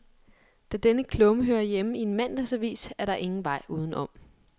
Da denne klumme hører hjemme i en mandagsavis, er der ingen vej udenom.